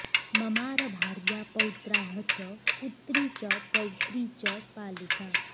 ममार भार्या पौत्राः च पुत्री च पौत्री च पालिका